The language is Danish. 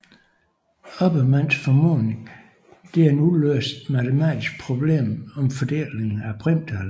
Oppermanns formodning er et uløst matematisk problem om fordelingen af primtal